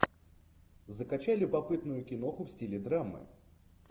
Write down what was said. закачай любопытную киноху в стиле драмы